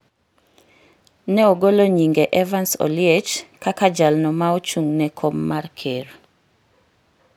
ne ogolo nyinge Evans Oliech kaka jalno ma ochung’ ne kom mar ker.